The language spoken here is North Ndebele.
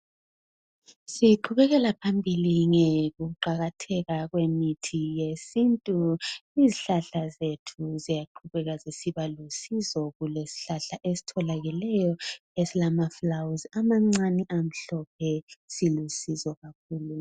Siqhubekela phambili ngokuqakatheka kwemithi yesintu. Izihlahla zethu ziyaqhubeka zisiba lusizo. Kulesihlahla esitholakeleyo esilamafulawuzi amancane amhlophe, silusizo kakhulu.